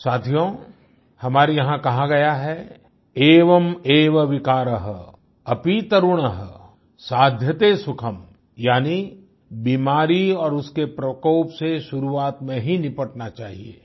साथियों हमारे यहाँ कहा गया है एवं एवं विकारः अपी तरुन्हा साध्यते सुखं यानि बीमारी और उसके प्रकोप से शुरुआत में ही निबटना चाहिए